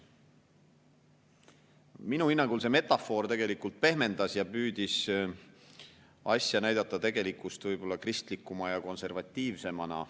Minu hinnangul see metafoor tegelikult pehmendas asja ja püüdis seda näidata tegelikust võib-olla kristlikuma ja konservatiivsemana.